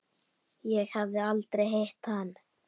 Ég hafði aldrei hitt hann.